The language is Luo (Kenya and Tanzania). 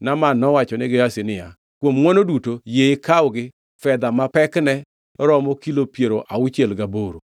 Naaman nowachone Gehazi niya, “Kuom ngʼwono duto yie ikawgi fedha ma pekne romo kilo piero auchiel gaboro.”